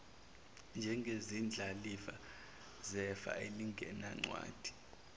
njengezindlalifa zefa elingenancwadi